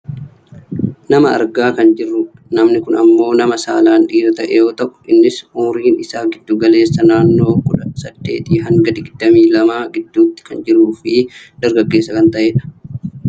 Nama argaa kan jirrudha. Namni kun ammoo nama saalaan dhiira ta'e yoo ta'u innis umuriin isaa giddu galeessaan nannoo kudha saddeetii hanga digdamii lamaa gidduu kan jiruufi dargaggeessa kan ta'edha.